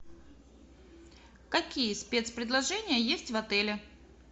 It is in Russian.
какие спец предложения есть в отеле